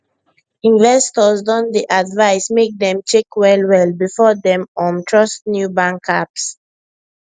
investors don dey advise make dem check well well before dem um trust new bank apps